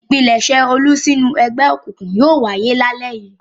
Ìpilẹ̀ṣẹ̀ Olú sínú ẹgbẹ́ òkùnkùn yóò wáyé lálẹ́ yìí.